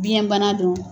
Biyɛnbana don